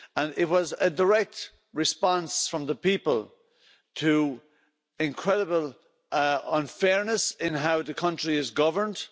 It was a direct response from the people to incredible unfairness in how the country is governed.